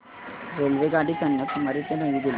रेल्वेगाडी कन्याकुमारी ते नवी दिल्ली